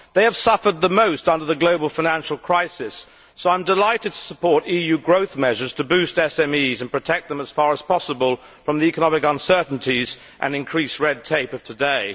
They have suffered the most under the global financial crisis, so I am delighted to support EU growth measures to boost SMEs and protect them as far as possible from the economic uncertainties and increased red tape of today.